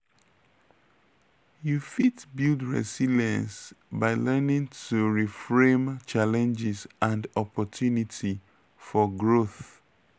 you fit build resilience by learning to reframe challenges and opportunity for growth.